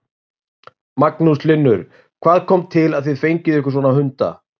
Magnús Hlynur: Hvað kom til að þið fenguð ykkur svona hunda?